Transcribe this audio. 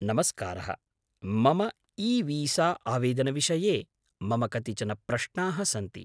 नमस्कारः, मम ईवीसा आवेदनविषये मम कतिचन प्रश्नाः सन्ति।